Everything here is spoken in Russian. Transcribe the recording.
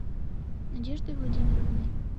надеждой владимировной